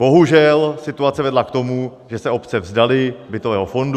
Bohužel situace vedla k tomu, že se obce vzdaly bytového fondu.